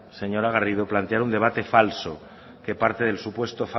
señora garrido plantear un debate falso que parte del supuesto